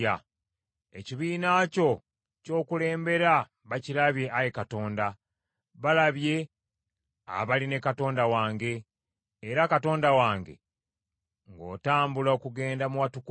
Ekibiina kyo ky’okulembedde bakirabye, Ayi Katonda, balabye abali ne Katonda wange, era Kabaka wange, ng’otambula okugenda mu watukuvu;